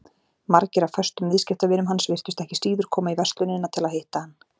Margir af föstum viðskiptavinum hans virtust ekki síður koma í verslunina til að hitta hann.